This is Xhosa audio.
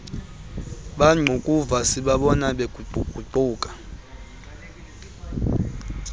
bangqukuva sibabona beguquguquka